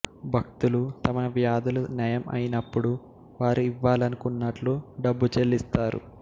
భక్తులు తమ వ్యాధులు నయం అయినప్పుడు వారు ఇవ్వాలనుకున్నట్లు డబ్బు చెల్లిస్తారు